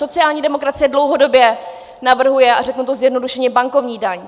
Sociální demokracie dlouhodobě navrhuje - a řeknu to zjednodušeně - bankovní daň.